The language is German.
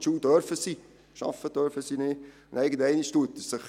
Zur Schule gehen darf er, nur arbeiten darf er nicht.